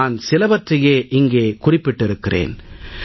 நான் சிலவற்றையே இங்கே குறிப்பிட்டிருக்கிறேன்